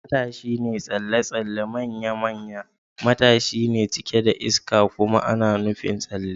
Matashin tsalle-tsalle manya-manyan matashi ne cike da iska kuma ana nufin tsalle.